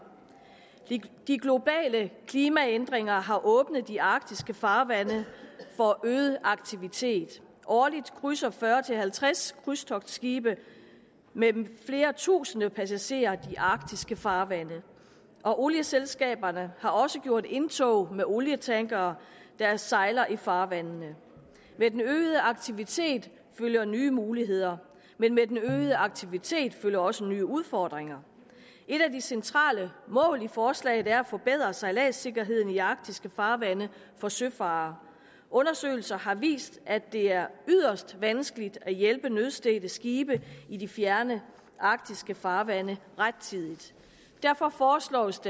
de globale klimaændringer har åbnet de arktiske farvande for øget aktivitet årligt krydser fyrre til halvtreds krydstogtskibe med flere tusinde passagerer de arktiske farvande og olieselskaberne har også gjort deres indtog med olietankere der sejler i farvandene med den øgede aktivitet følger nye muligheder men med den øgede aktivitet følger også nye udfordringer et af de centrale mål i forslaget er at forbedre sejladssikkerheden i arktiske farvande for søfarere undersøgelser har vist at det er yderst vanskeligt at hjælpe nødstedte skibe i de fjerne arktiske farvande rettidigt derfor foreslås